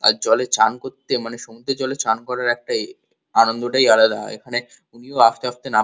আর জলে চান করতে মানে সমুদ্রের জলে চান করার একটাই আনন্দটাই আলাদা হয় এখানে উনিও আস্তে আস্তে নাব--